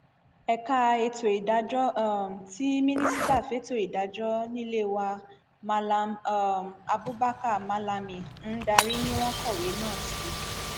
ẹka ètò ìdájọ um tí mínísítà fẹtọ ìdájọ nílé wa mallam um abubakar malami ń darí ni wọn kọwé náà sí